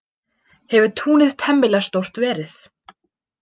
Hefur túnið temmilega stórt verið.